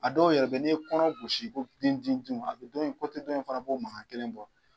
A dɔw yɛrɛ bɛ yen n'i ye kɔnɔ gosi ko dinw dinw dinw a bɛ dɔ in fana b'o makan kelen bɔ.